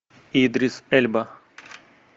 идрис эльба